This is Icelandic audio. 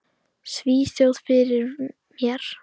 Svíþjóð fyrir mér.